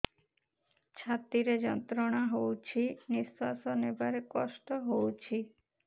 ଛାତି ରେ ଯନ୍ତ୍ରଣା ହଉଛି ନିଶ୍ୱାସ ନେବାରେ କଷ୍ଟ ହଉଛି